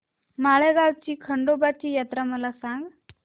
माळेगाव ची खंडोबाची यात्रा मला सांग